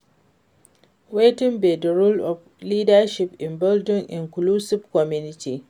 Wetin be di role of leadership in building inclusive community?